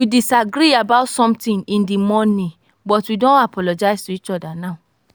we disagree about something in the morning but we don apologize to each other now